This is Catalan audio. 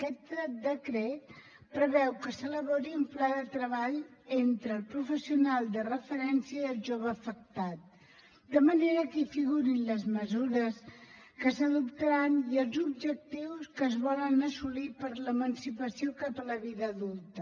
aquest decret preveu que s’elabori un pla de treball entre el professional de referència i el jove afectat de manera que hi figurin les mesures que s’adoptaran i els objectius que es volen assolir per a l’emancipació cap a la vida adulta